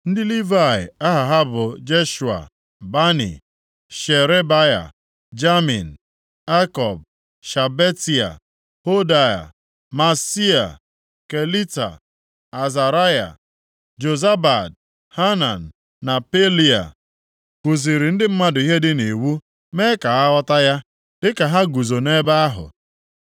Ndị Livayị aha ha bụ Jeshua, Bani, Sherebaya, Jamin, Akub, Shabetai, Hodia, Maaseia, Kelita, Azaraya, Jozabad, Hanan na Pelia, kuziri ndị mmadụ ihe dị nʼIwu mee ka ha ghọta ya dịka ha guzo nʼebe ahụ.